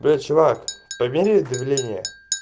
эй чувак померий давление